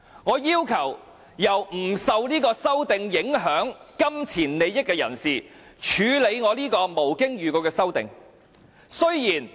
我要求由不受這修正案影響，沒有直接金錢利益的人士，來處理我這項無經預告的修正案。